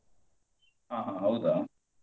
ಅಹ್ ಹೌದಾ?